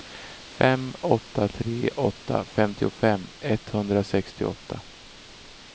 fem åtta tre åtta femtiofem etthundrasextioåtta